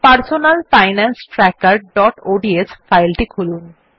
personal finance trackerঅডস file টি খুলুন